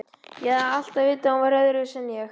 Ég hafði alltaf vitað að hún væri öðruvísi en ég